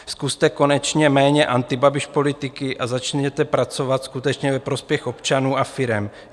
Zkuste konečně méně antibabiš politiky a začněte pracovat skutečně ve prospěch občanů a firem.